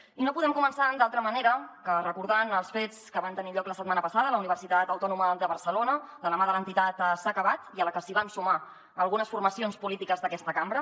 i no podem començar d’altra manera que recordant els fets que van tenir lloc la setmana passada a la universitat autònoma de barcelona de la mà de l’entitat s’ha acabat i a la que s’hi van sumar algunes formacions polítiques d’aquesta cambra